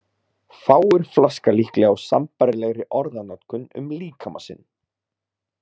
Fáir flaska líklega á sambærilegri orðanotkun um líkama sinn.